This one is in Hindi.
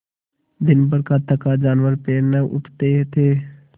दिनभर का थका जानवर पैर न उठते थे